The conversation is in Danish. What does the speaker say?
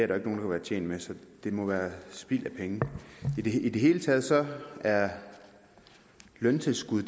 der kan være tjent med så det må være spild af penge i det hele taget taget er løntilskud